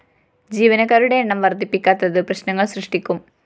ജീവനക്കാരുടെ എണ്ണം വര്‍ദ്ധിപ്പിക്കാത്തത് പ്രശ്‌നങ്ങള്‍ സൃഷ്ടിക്കും